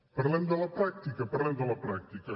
parlem de la pràctica parlem de la pràctica